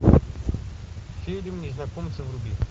фильм незнакомцы вруби